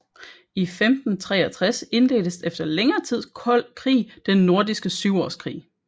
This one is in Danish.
I 1563 indledtes efter længere tids kold krig Den Nordiske Syvårskrig